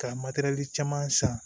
Ka caman san